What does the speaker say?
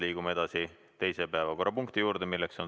Liigume teise päevakorrapunkti juurde.